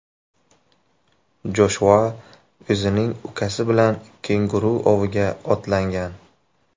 Joshua o‘zining ukasi bilan kenguru oviga otlangan.